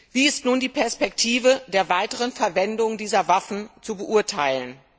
Wie ist nun die Perspektive der weiteren Verwendung der Waffen zu beurteilen?